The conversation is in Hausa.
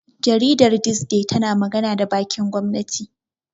Jaridar Thisday tana magana da bakin gwamnati.